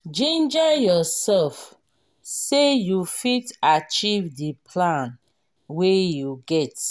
ginger yourself sey you fit achieve di plan wey you get